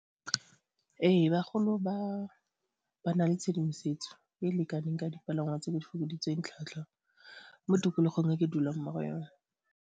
Ee, bagolo ba na le tshedimosetso e e lekaneng ka dipalangwa tse di fokoditsweng tlhwatlhwa mo tikologong e ke dulang mo go yone.